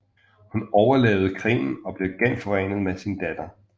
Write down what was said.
Hun overlevede krigen og blev genforenet med sin datter